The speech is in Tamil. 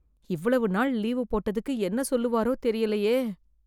இவ்வளவு நாள் லீவு போட்டதுக்கு என்ன சொல்லுவாரோ தெரியலையே?